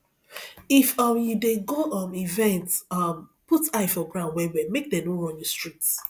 if um you dey go um event um put eye for ground well well make dem no run you street